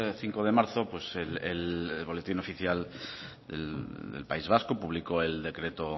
cinco de marzo el boletín oficial del país vasco publicó el decreto